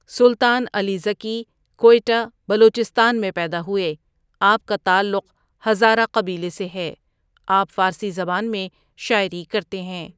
سلطان علی ذکی کوئٹه بلوچستان میں پیدا هوئے آپ کا تعلق هزاره قبیلے سے ہے آپ فارسی زبان میں شاعری کرتے هیں.